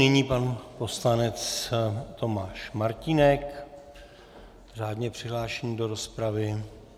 Nyní pan poslanec Tomáš Martínek, řádně přihlášený do rozpravy.